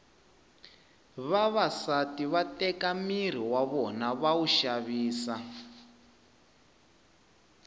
vavasati va teka miri w vona va wu xavisa